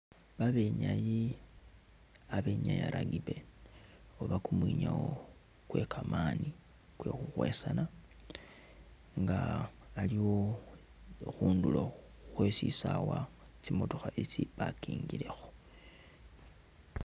Babenyayi abenyaa rugby oba kumwinyawo kwekamani kwekhukhwesana nga aliwo khundulo khwesisawa tsi'motokha isi i'parkingilekho